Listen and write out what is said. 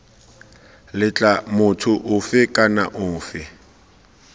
letla motho ofe kana ofe